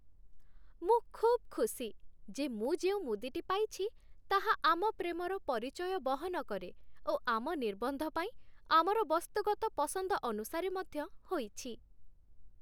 ମୁଁ ଖୁବ୍ ଖୁସି ଯେ ମୁଁ ଯେଉଁ ମୁଦିଟି ପାଇଛି ତାହା ଆମ ପ୍ରେମର ପରିଚୟ ବହନ କରେ ଓ ଆମ ନିର୍ବନ୍ଧ ପାଇଁ ଆମର ବସ୍ତୁଗତ ପସନ୍ଦ ଅନୁସାରେ ମଧ୍ୟ ହୋଇଛି।